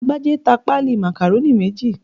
Agbájé ta pálí Macaroni méjì